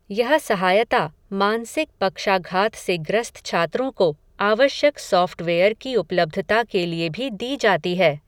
यह सहायता मानसिक पक्षाघात से ग्रस्त छात्रों को आवश्यक सॉफ़्टवेयर की उपलब्धता के लिए भी दी जाती है.